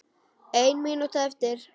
Ein mínúta eftir.